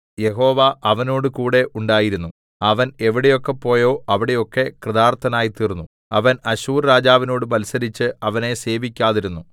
യഹോവ അവനോടുകൂടെ ഉണ്ടായിരുന്നു അവൻ എവിടെയൊക്കെ പോയോ അവിടെയൊക്കെ കൃതാർത്ഥനായിത്തീർന്നു അവൻ അശ്ശൂർരാജാവിനോട് മത്സരിച്ച് അവനെ സേവിക്കാതിരുന്നു